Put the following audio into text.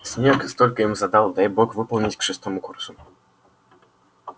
снегг столько им задал дай бог выполнить к шестому курсу